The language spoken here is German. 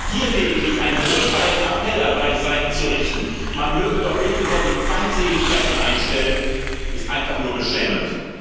Hier lediglich einen wohlfeilen Appell an beide Seiten zu richten, man möge doch bitte sehr die Feindseligkeiten einstellen, ist einfach nur beschämend.